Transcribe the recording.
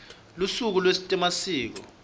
lusuku lwetemasiko